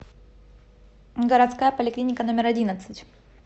городская поликлиника номер одиннадцать